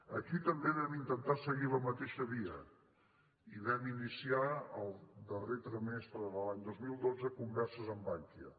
aquí també vam intentar seguir la mateixa via i vam iniciar el darrer trimestre de l’any dos mil dotze converses amb bankia